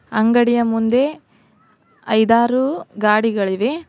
ಅಂಗಡಿಯ ಮುಂದೆ ಐದಾರು ಗಾಡಿಗಳಿವೆ.